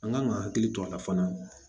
An kan ka hakili to a la fana